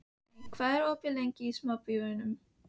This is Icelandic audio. Mey, hvað er opið lengi í Sambíóunum?